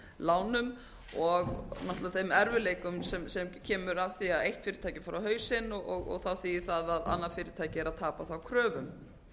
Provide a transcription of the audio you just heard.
lánum og náttúrlega þeim erfiðleikum sem kemur af því að eitt fyrirtæki fer á hausinn og það þýðir að annað fyrirtæki er að tapa kröfum